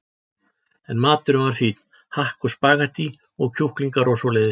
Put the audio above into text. En maturinn var fínn, hakk og spaghettí og kjúklingar og svoleiðis.